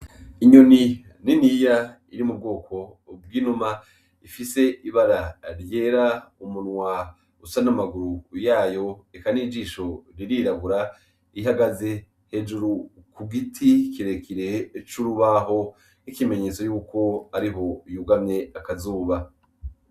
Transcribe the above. Inyoni niniya iri mu bwoko bw'inuma ifise ibara ryera, umunwa usa n'amaguru yayo, eka n'ijisho ririrabura, ihagaze hejuru ku giti kirekire c'urubaho nk'ikimenyetso c'uko ariho yugamye izuba.